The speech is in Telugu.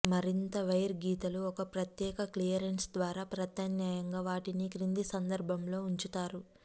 మరింత వైర్ గీతలు ఒక ప్రత్యేక క్లియరెన్స్ ద్వారా ప్రత్యామ్నాయంగా వాటిని క్రింది సందర్భములో ఉంచుతారు